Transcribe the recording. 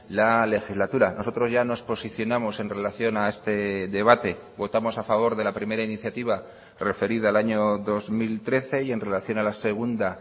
la legislatura nosotros ya nos posicionamos en relación a este debate votamos a favor de la primera iniciativa referida al año dos mil trece y en relación a la segunda